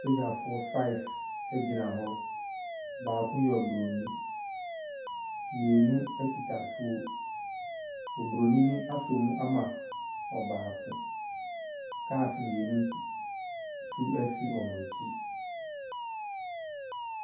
Sogyafoɔ five gyina hɔ. Baako yɛ oburoni, mmienu kuta atuo. Oburoni no asɔ mu ama baako. Cars mmienu nso nso si wɔn akyi.